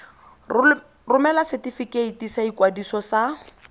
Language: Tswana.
romela setefikeiti sa ikwadiso sa